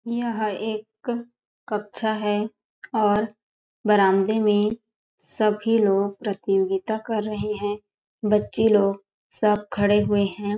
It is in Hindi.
यह एक कक्षा है और बारान्दे में सभी लोग प्रतियोगिता कर रहे हैबच्चे लोग सब खड़े हुए हैं ।